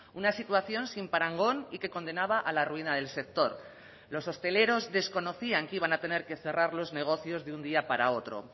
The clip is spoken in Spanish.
una situación sin parangón y que condenaba a la ruina del sector los hosteleros desconocían que iban a tener que cerrar los negocios de un día para otro